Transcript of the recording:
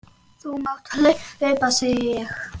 Þú mátt hlaupa, segi ég.